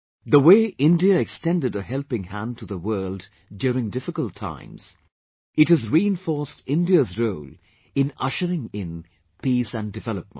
The way India extended a helping hand to the world during difficult times, it has reinforced India's role in ushering in peace and development